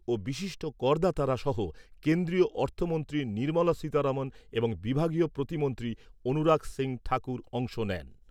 ও বিশিষ্ট করদাতারা সহ কেন্দ্রীয় অর্থমন্ত্রী নির্মলা সীতারমন এবং বিভাগীয় প্রতিমন্ত্রী অনুরাগ সিং ঠাকুর অংশ নেন।